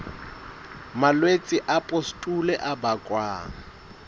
malwetse a pustule a bakwang